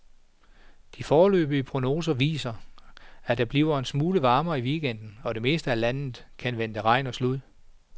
De foreløbige prognoser viser, at det bliver en smule varmere i weekenden, og det meste af landet kan vente regn og slud.